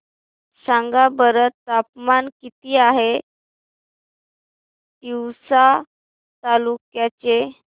सांगा बरं तापमान किती आहे तिवसा तालुक्या चे